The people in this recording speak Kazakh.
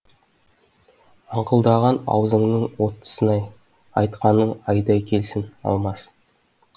аңқылдаған аузыңның оттысын ай айтқаның айдай келсін алмас